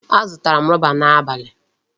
Azụtara m rọba n'abalị.